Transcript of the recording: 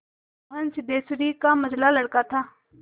मोहन सिद्धेश्वरी का मंझला लड़का था